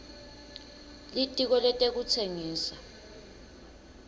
litiko letekutsengisa